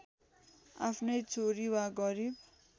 आफ्नै छोरी वा गरिब